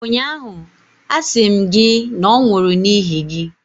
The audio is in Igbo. ụnyaahụ, asị m gị na ọ nwụrụ n’ihi gị!